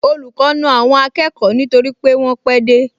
Olùkọ́ na àwọn akẹ́kọ̀ọ nítorí wọ́n pẹ́ dé